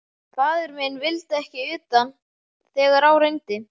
Faðir minn vildi ekki utan þegar á reyndi.